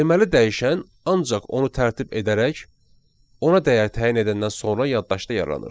Deməli dəyişən ancaq onu tərtib edərək, ona dəyər təyin edəndən sonra yaddaşda yaranır.